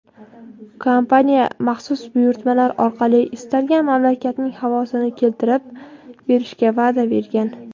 kompaniya maxsus buyurtmalar orqali istalgan mamlakatning havosini keltirib berishga va’da bergan.